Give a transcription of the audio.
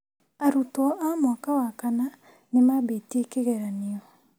Arutwo a mwaka wa kana nĩ mambĩtie kĩgeranio